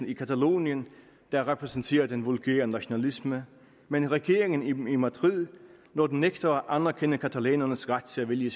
i catalonien der repræsenterer den vulgære nationalisme men regeringen i madrid når den nægter at anerkende catalanernes ret til at vælge